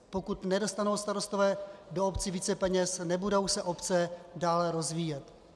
Pokud nedostanou starostové do obcí více peněz, nebudou se obce dále rozvíjet.